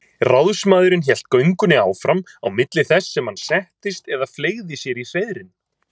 Ráðsmaðurinn hélt göngunni áfram á milli þess sem hann settist eða fleygði sér í hreiðrin.